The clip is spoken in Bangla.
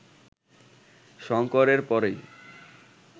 শঙ্করের পরেই